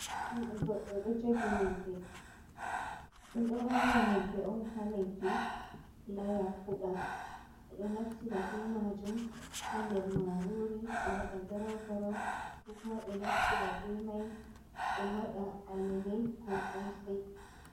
Juude goɗɗo ɗo jogi ŋyebbe, ɓe ɗo awa ŋyebbe on ha leddi laya fuda, be do naftira be majum ha nder marori ɓe waɗa garau garau, kokuma ɓe naftira be mai ɓe waɗa alele ko kosai.